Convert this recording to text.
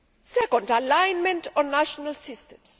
Second alignment on national systems.